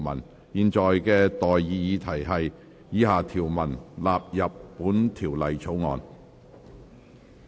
我現在向各位提出的待議議題是：以下條文納入本條例草案。